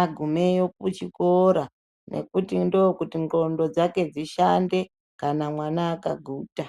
agumeyo kuchikoro nekuti ndokuti ngqondo dzake dzishande kana mwana akaguta.